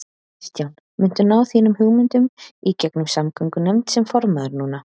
Kristján: Muntu ná þínum hugmyndum í gegnum samgöngunefnd sem formaður núna?